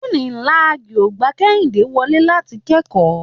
Unilag ò gba Kẹ́hìndé wọlé láti kẹ́kọ̀ọ́.